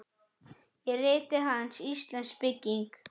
Í riti hans, Íslensk bygging